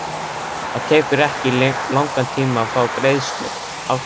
Það tekur ekki langan tíma að fá afgreiðslu.